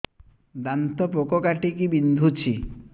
ଦାନ୍ତ ପୋକ କାଟିକି ବିନ୍ଧୁଛି